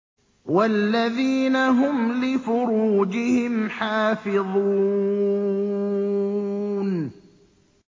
وَالَّذِينَ هُمْ لِفُرُوجِهِمْ حَافِظُونَ